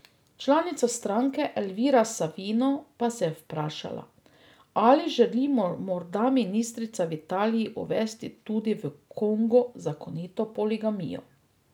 Članica stranke Elvira Savino pa se je vprašala, ali želi morda ministrica v Italiji uvesti tudi v Kongu zakonito poligamijo.